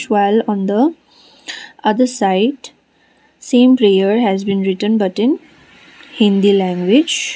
on the other side same prayer has been written but in hindi language.